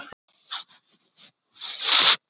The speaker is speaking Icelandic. Góða nótt og drauma.